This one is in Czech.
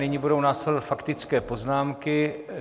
Nyní budou následovat faktické poznámky.